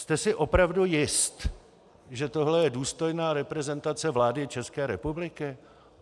Jste si opravdu jist, že tohle je důstojná reprezentace vlády České republiky?